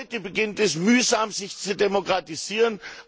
Heute beginnt es mühsam, sich zu demokratisieren.